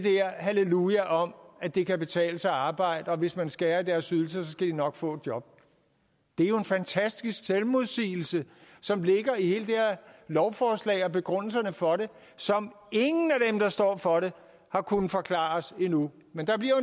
halleluja om at det kan betale sig at arbejde og hvis man skærer i deres ydelser skal de nok få et job det er jo en fantastisk selvmodsigelse som ligger i hele det her lovforslag og begrundelserne for det og som ingen af dem der står for det har kunnet forklare os endnu men der bliver